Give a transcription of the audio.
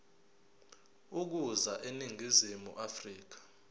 ukuza eningizimu afrika